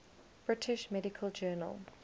british medical journal